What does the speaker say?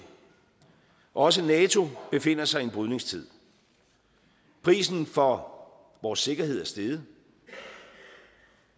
og også nato befinder sig en i brydningstid prisen for vores sikkerhed er steget